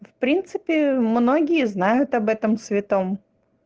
в принципе многие знают об этом святом